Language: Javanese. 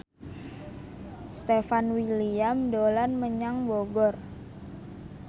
Stefan William dolan menyang Bogor